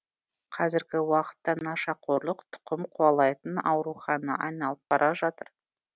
қазіргі уақытта нашақорлық тұқым қуалайтын ауруға айналып бара жатыр